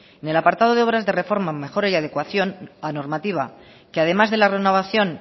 de apartado de obras de reforma mejora y adecuación la normativa que además de la renovación